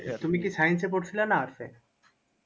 তুমি কি science এ পড়ছিল না arts এ?